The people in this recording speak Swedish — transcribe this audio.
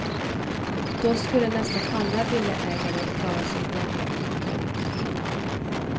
Då skulle nästan alla villaägare klara sig bra.